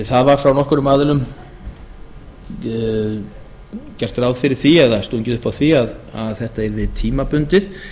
það var frá nokkrum aðilum gert ráð fyrir því eða stungið upp á því að þetta yrði tímabundið